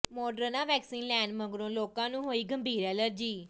Moderna vaccine ਲੈਣ ਮਗਰੋਂ ਲੋਕਾਂ ਨੂੰ ਹੋਈ ਗੰਭੀਰ ਐਲਰਜੀ